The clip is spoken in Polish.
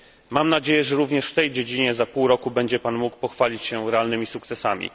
Mam nadzieję, że również w tej dziedzinie za pół roku będzie pan mógł pochwalić się realnym sukcesami.